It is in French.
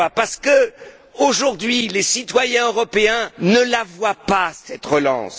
Parce qu'aujourd'hui, les citoyens européens ne voient pas cette relance.